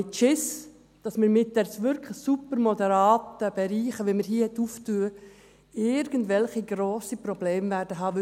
Ich habe keine Angst, dass wir mit diesen wirklich super-moderaten Bereichen, die wir hier nun öffnen, irgendwelche grossen Probleme haben werden.